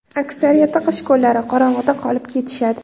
Aksariyati qish kunlari qorong‘uda qolib ketishadi.